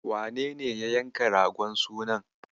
Wanene ya yanka ragon sunan?